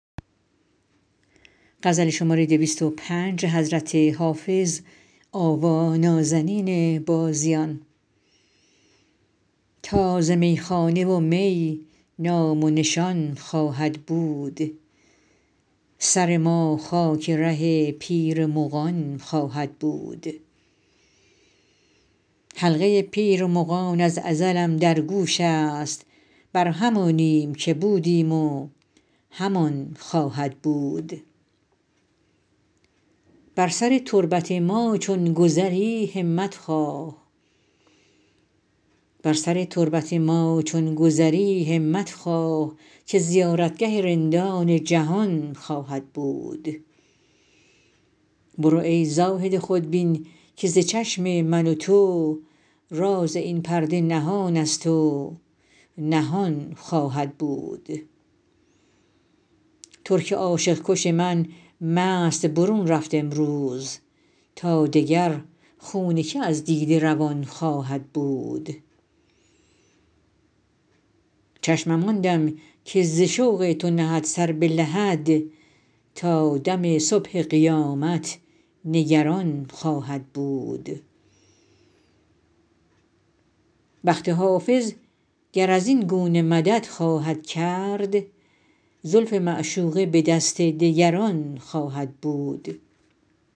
تا ز میخانه و می نام و نشان خواهد بود سر ما خاک ره پیر مغان خواهد بود حلقه پیر مغان از ازلم در گوش است بر همانیم که بودیم و همان خواهد بود بر سر تربت ما چون گذری همت خواه که زیارتگه رندان جهان خواهد بود برو ای زاهد خودبین که ز چشم من و تو راز این پرده نهان است و نهان خواهد بود ترک عاشق کش من مست برون رفت امروز تا دگر خون که از دیده روان خواهد بود چشمم آن دم که ز شوق تو نهد سر به لحد تا دم صبح قیامت نگران خواهد بود بخت حافظ گر از این گونه مدد خواهد کرد زلف معشوقه به دست دگران خواهد بود